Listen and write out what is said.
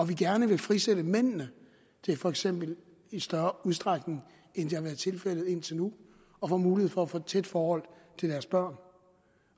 vi gerne vil frisætte mændene til for eksempel i større udstrækning end det har været tilfældet indtil nu at få mulighed for at få et tæt forhold til deres børn